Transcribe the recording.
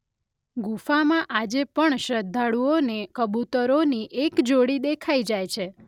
ગુફામાં આજે પણ શ્રદ્ધાળુઓને કબૂતરોની એક જોડી દેખાઈ જાય છે